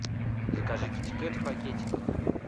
закажи китикет в пакетиках